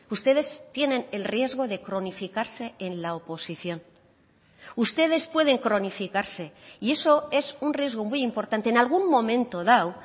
ustedes tienen el riesgo de cronificarse en la oposición ustedes pueden cronificarse y eso es un riesgo muy importante en algún momento dado